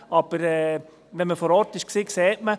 Aber wenn man vor Ort war, sieht man: